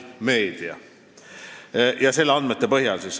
Meedia" andmed.